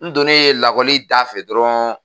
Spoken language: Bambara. N donnen lakɔli da fɛ dɔrɔn